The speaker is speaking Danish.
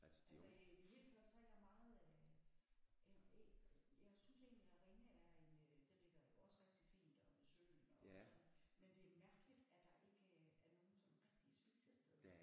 Altså i det hele taget så er jeg meget øh jeg synes egentligt at Ringe er en øh den ligger jo også rigtig fint og ved søen og sådan men det er mærkeligt at der ikke øh er er nogen sådan rigtige spisesteder